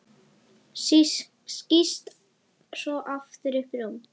Skýst svo aftur upp í rúm.